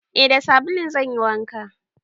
Eh da sabulun zan yi wanka.